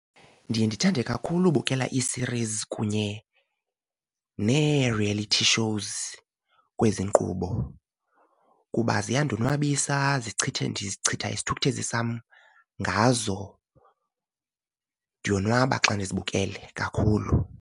Ndiye ndithande kakhulu ubukela i-series kunye nee-reality shows kwezi nkqubo kuba ziyandonwabisa zichitha ndichitha isithukuthezi sam ngazo, ndiyonwaba xa ndizibukele kakhulu.